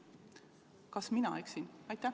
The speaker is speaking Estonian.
Kas mina eksin?